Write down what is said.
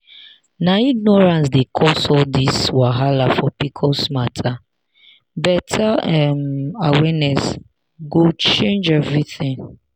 na ignorance dey cause all this wahala for pcos matter better um awareness go change everything.